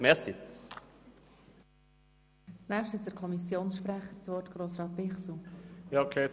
Als Nächster hat der Kommissionssprecher, Grossrat Bichsel, das Wort.